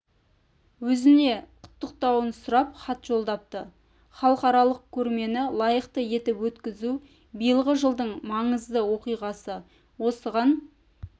өзіне құттықтауын сұрап хат жолдапты халықаралық көрмені лайықты етіп өткізу биылғы жылдың маңызды оқиғасы осыған